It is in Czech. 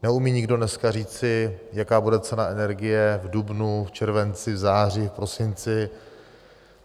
Neumí nikdo dneska říci, jaká bude cena energie v dubnu, v červenci, v září, v prosinci.